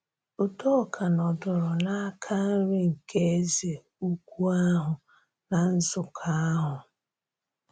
Udòka nọdụrụ n’aka nri nke eze ukwu ahụ ná nzukọ ahụ.